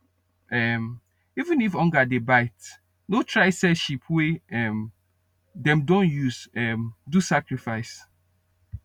um even if hunger dey bite no try sell sheep wey um dem don use um do sacrifice